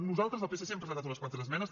nosaltres el psc hem presentat unes quantes esmenes